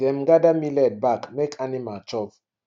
dem gather millet back make animal chop